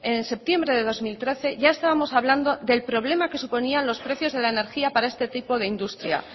en septiembre de dos mil trece ya estábamos hablando del problema que suponía los precios de la energía para este tipo de industria